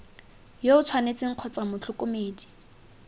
yo o tshwanetseng kgotsa motlhokomedi